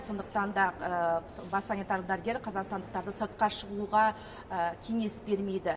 сондықтан да бас санитар дәрігер қазақстандықтарды сыртқа шығуға кеңес бермейді